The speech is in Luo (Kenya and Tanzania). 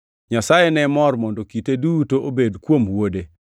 Nyasaye ne mor mondo kite duto obed kuom Wuode,